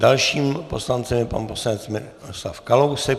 Dalším poslancem je pan poslanec Miroslav Kalousek.